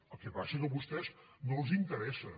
el que passa és que a vostès no els interessa